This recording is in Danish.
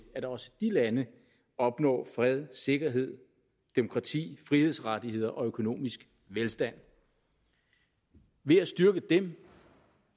at også de lande opnår fred sikkerhed demokrati frihedsrettigheder og økonomisk velstand ved at styrke dem